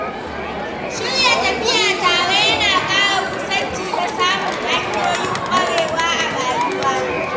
Shirya tafiya tare yana ƙara kusanci da samun hanyoyin ƙwarewa a rayuwa.